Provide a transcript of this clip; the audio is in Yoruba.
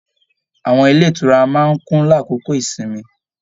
Àwọn ilé ìtura máa n kún l'akoko ìsinmi